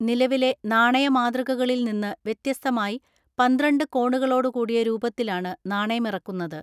നിലവിലെ നാണയ മാതൃകക ളിൽ നിന്ന് വ്യത്യസ്തമായി പന്ത്രണ്ട് കോണുകളോടുകൂടിയ രൂപത്തിലാണ് നാണയമിറക്കുന്നത്.